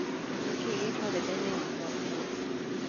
nĩ kĩĩ gĩ karenda-inĩ yakwa ũmũthĩ